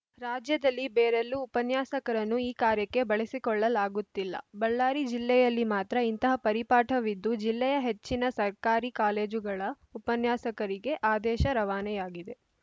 ರಾಜ್ಯದಲ್ಲಿ ಬೇರೆಲ್ಲೂ ಉಪನ್ಯಾಸಕರನ್ನು ಈ ಕಾರ್ಯಕ್ಕೆ ಬಳಸಿಕೊಳ್ಳಲಾಗುತ್ತಿಲ್ಲ ಬಳ್ಳಾರಿ ಜಿಲ್ಲೆಯಲ್ಲಿ ಮಾತ್ರ ಇಂತಹ ಪರಿಪಾಠವಿದ್ದು ಜಿಲ್ಲೆಯ ಹೆಚ್ಚಿನ ಸರ್ಕಾರಿ ಕಾಲೇಜುಗಳ ಉಪನ್ಯಾಸಕರಿಗೆ ಆದೇಶ ರವಾನೆಯಾಗಿದೆ